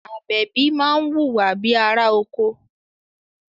Àbẹ̀bí máa ń wùwà bíi ará oko